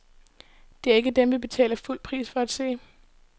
Det er ikke dem, vi betaler fuld pris for at se.